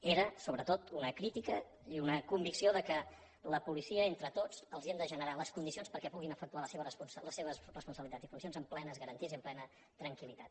era sobretot una crítica i una convicció que a la policia entre tots els hem de generar les condicions perquè puguin efectuar les seves responsabilitats i funcions amb plenes garanties i amb plena tranquillitat